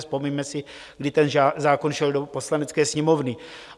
Vzpomeňme si, kdy ten zákon šel do Poslanecké sněmovny.